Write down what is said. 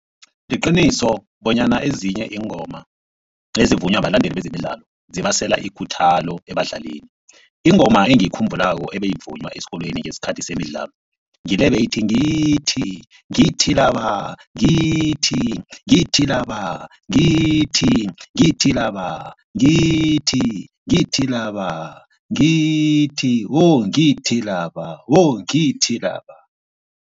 Liqiniso bonyana ezinye iingoma ezivunywa balandeli bezemidlalo zibasela ikhuthalo ebadlalini. Ingoma engiyikhumbulako ebayivunywa esikolweni ngesikhathi zemidlalo ngile beyithi, ngithi ngithi laba ngithi ngithi laba ngithi ngithi laba ngithi ngithi laba ngithi wo ngithi laba wo ngithi laba.